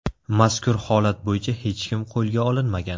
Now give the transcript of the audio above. Mazkur holat bo‘yicha hech kim qo‘lga olinmagan.